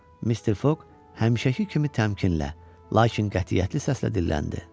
Mister Foq həmişəki kimi təmkinlə, lakin qətiyyətli səslə dilləndi.